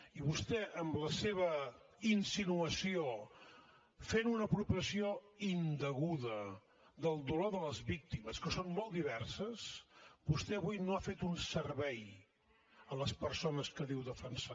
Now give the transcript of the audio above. i vostè amb la seva insinuació fent una apropiació indeguda del dolor de les víctimes que són molt diverses avui no ha fet un servei a les persones que diu defensar